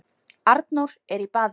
Arnór er í baði